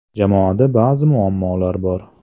Jamoada ba’zi muammolar bor.